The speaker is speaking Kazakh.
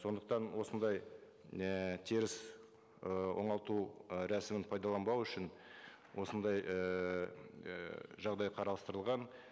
сондықтан осындай ііі теріс ы оңалту ы рәсімін пайдаланбау үшін осындай ііі жағдай қарастырылған